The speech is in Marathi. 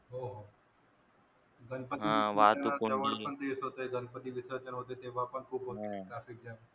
गणपती विसर्जन जवळ पण तेच होते गणपती विसर्जन होते तेव्हा पण खोत traffic jam